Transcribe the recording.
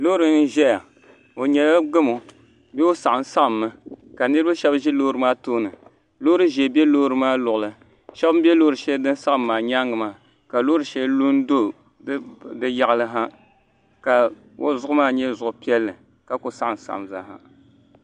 Loori n ʒɛya o nyɛla gamo bee o saɣam saɣammi ka niraba shab ʒi loori maa tooni loori ʒiɛ bɛ loori maa luɣuli shab n bɛ loori shɛli din saɣam maa nyaangi maa ka loori shɛli lu n do di yaɣali ha ka o zuɣu maa nyɛ zuɣu piɛlli ka ku saɣam saɣam zaaha